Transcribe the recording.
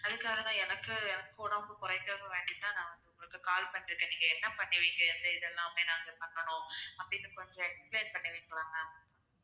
அதுக்காக தான் எனக்கு எனக்கு உடம்பு குறைக்கணும்னு வேண்டிதான் நான் வந்து உங்களுக்கு call பண்ணியிருக்கேன் நீங்க என்ன பண்ணுவீங்க வந்து எது எல்லாமே நான் பண்ணணும் அப்படின்னு கொஞம் explain பண்ணுவீங்களா ma'am